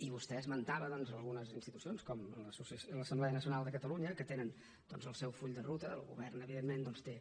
i vostè esmentava algunes institucions com l’assemblea nacional de catalunya que tenen el seu full de ruta el govern evidentment doncs té